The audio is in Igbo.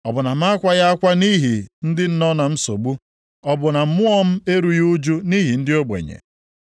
Ọ bụ na m akwaghị akwa nʼihi ndị nọ na nsogbu; ọ bụ na mmụọ m erughị ụjụ nʼihi ndị ogbenye?